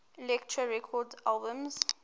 elektra records albums